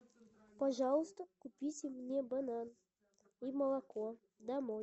пожалуйста купите мне банан и молоко домой